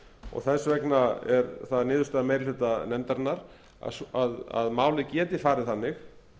og þess vegna er það niðurstaða meiri hluta nefndarinnar að málið geti farið þannig